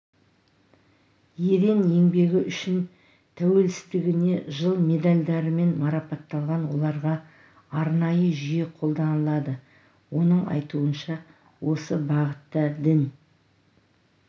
ерен еңбегі үшін тәуелсіздігіне жыл медальдарымен марапатталған оларға арнайы жүйе қолданылады оның айтуынша осы бағытта дін